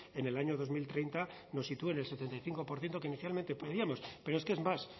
en el año dos mil treinta nos sitúe en el setenta y cinco por ciento que inicialmente pedíamos pero es que es más